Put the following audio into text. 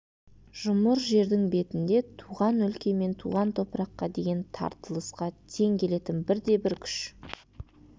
жұмыр жердің бетінде туған өлке мен туған топыраққа деген тартылысқа тең келетін бір де бір күш